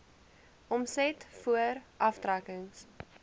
omset voor aftrekkings